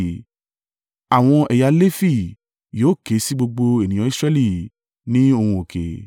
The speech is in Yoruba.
Àwọn ẹ̀yà Lefi yóò ké sí gbogbo ènìyàn Israẹli ní ohùn òkè: